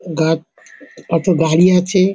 গাত কত গাড়ি আছে--